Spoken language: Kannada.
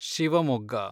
ಶಿವಮೊಗ್ಗ